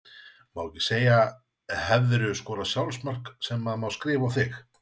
Má ekki segja Hefurðu skorað sjálfsmark sem að má skrifa á þig?